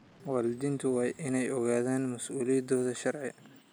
Waalidiintu waa inay ogaadaan mas'uuliyadahooda sharci.